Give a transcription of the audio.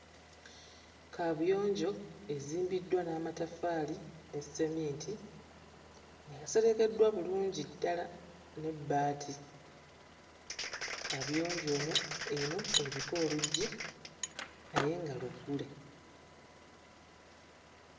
Kaabuyonjo ezimbiddwa n'amataffaali ne sseminti yaserekeddwa bulungi ddala n'ebbaati. Kaabuyonjo onyo eno eriko oluggi naye nga luggule.